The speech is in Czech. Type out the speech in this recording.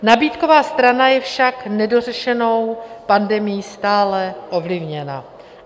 Nabídková strana je však nedořešenou pandemií stále ovlivněna.